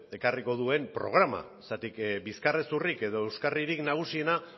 ekarriko duen programa bizkarrezurrik edo euskarririk nagusiena